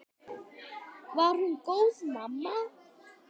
Var hún góð mamma?